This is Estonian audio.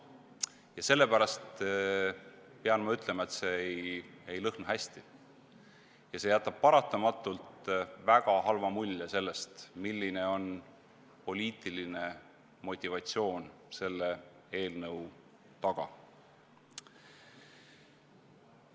Ja sellepärast pean ma ütlema, et see ei lõhna hästi ja see jätab paratamatult väga halva mulje sellest, milline on poliitiline motivatsioon selle eelnõu taga.